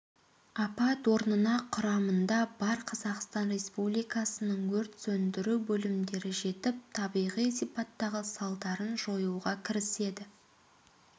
апат орнына құрамында бар қазақстан республикасының өрт сөндіру бөлімдері жетіп табиғи сипаттағы салдарын жоюға кіріседі